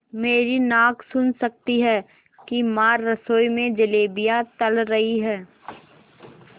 मेरी नाक सुन सकती है कि माँ रसोई में जलेबियाँ तल रही हैं